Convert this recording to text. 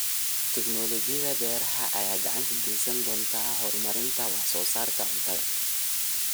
Tiknoolajiyada beeraha ayaa gacan ka geysan doonta horumarinta wax soo saarka cuntada.